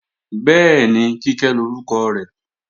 Bẹ́ẹ̀ni, Kíkẹ́ lórúkọ rẹ̀